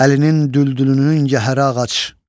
Əlinin Düldülünün cəhərə ağac.